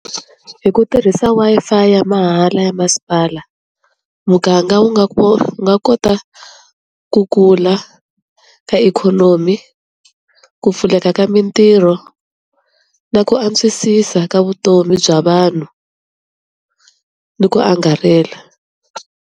Hi ku tirhisa Wi-Fi ya mahala ya masipala, muganga wu nga wu nga kota ku kula ka ikhonomi ku pfuleka ka mintirho na ku antswisisa ka vutomi bya vanhu ni ku angarhela.